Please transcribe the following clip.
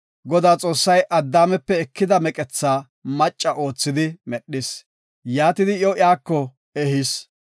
Godaa Xoossay Addaamepe ekida meqetha macca oothidi medhis; yaatidi iyo iyako ehis.